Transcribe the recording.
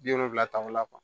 Bi wolonwula ta o la